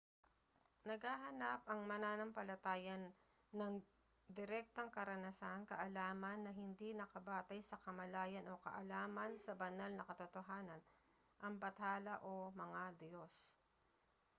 naghahanap ang mananampalataya ng direktang karanasan kaalaman na hindi nakabatay sa kamalayan o kaalaman sa banal na katotohanan/ang bathala o mga diyos